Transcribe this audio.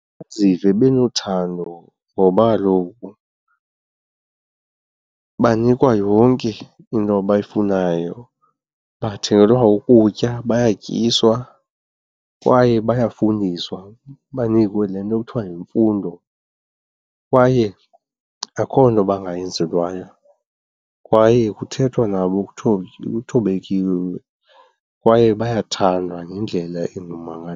Bazive benothando ngoba kaloku banikwa yonke into abayifunayo. Bathengelwa ukutya, bayatyiswa kwaye bayafundiswa, banikwe le nto kuthiwa yimfundo kwaye akukho nto bangayenzelwayo kwaye kuthethwa nabo kuthobekiwe kwaye bayathandwa ngendlela engummangaliso.